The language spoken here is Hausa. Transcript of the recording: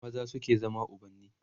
maza suke zama ubanni